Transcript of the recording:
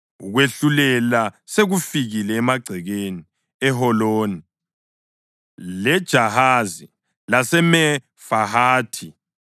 Ukwehlulela sekufikile emagcekeni eHoloni, leJahazi laseMefahathi,